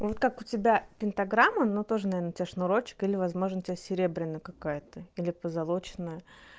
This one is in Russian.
вот как у тебя пентаграмма но тоже наверно у тебя шнурочек или возможно у тебя серебряная какая-то или позолоченная